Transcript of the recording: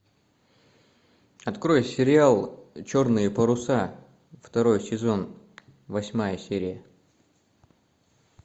открой сериал черные паруса второй сезон восьмая серия